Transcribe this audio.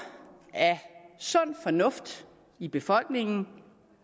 af sund fornuft i befolkningen